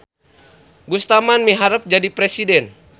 Gustaman miharep jadi presiden